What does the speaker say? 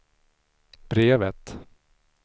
brevet